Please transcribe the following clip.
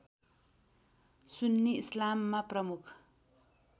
सुन्नी इस्लाममा प्रमुख